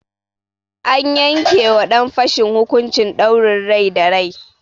An yanke ma ɗan fashin hukuncin ɗaurin rai da rai.